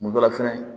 Kun dɔ la fɛnɛ